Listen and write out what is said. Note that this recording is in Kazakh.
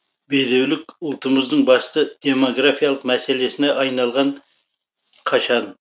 бедеулік ұлтымыздың басты демографиялық мәселесіне айналған қашан